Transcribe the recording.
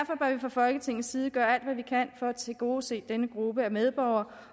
fra folketingets side gøre alt hvad vi kan for at tilgodese denne gruppe af medborgere